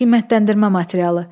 Qiymətləndirmə materialı.